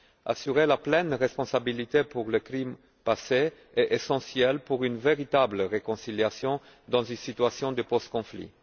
Assurer la pleine responsabilité pour les crimes passés est essentiel pour une véritable réconciliation dans une situation de post conflit.